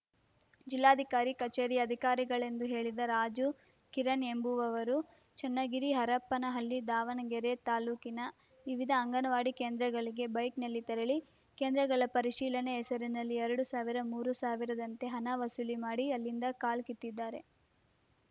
ಜಿಲ್ಲಾಧಿಕಾರಿ ಕಚೇರಿಯ ಅಧಿಕಾರಿಗಳೆಂದು ಹೇಳಿದ ರಾಜು ಕಿರಣ್‌ ಎಂಬುವರು ಚನ್ನಗಿರಿ ಹರಪನಹಳ್ಳಿ ದಾವಣಗೆರೆ ತಾಲೂಕಿನ ವಿವಿಧ ಅಂಗನವಾಡಿ ಕೇಂದ್ರಗಳಿಗೆ ಬೈಕ್‌ನಲ್ಲಿ ತೆರಳಿ ಕೇಂದ್ರಗಳ ಪರಿಶೀಲನೆ ಹೆಸರಿನಲ್ಲಿ ಎರಡು ಸಾವಿರ ಮೂರು ಸಾವಿರದಂತೆ ಹಣ ವಸೂಲಿ ಮಾಡಿ ಅಲ್ಲಿಂದ ಕಾಲ್ಕಿತ್ತಿದ್ದಾರೆ